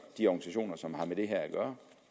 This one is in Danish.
de organisationer som har med det her at gøre